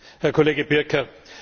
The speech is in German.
Herr Kollege Pirker!